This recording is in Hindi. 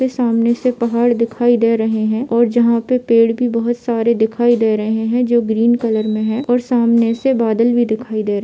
इसके सामने से पहाड़ दिखाई दे रहे है और जहाँ पे पेड़ भी बहुत सारे दिखाई दे रहे है जो ग्रीन कलर में है और सामने से बदल भी दिखाई दे --